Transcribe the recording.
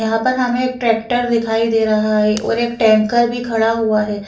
यहाँ पर हमे एक ट्रैक्टर दिखाई दे रहा है और एक टँकर भी खड़ा हुआ है ।